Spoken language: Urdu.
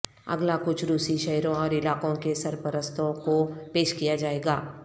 اگلا کچھ روسی شہروں اور علاقوں کے سرپرستوں کو پیش کیا جائے گا